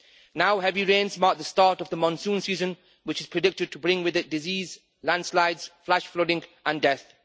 Now heavy rains mark the start of the monsoon season, which is predicted to bring with it disease, landslides, flash flooding and death.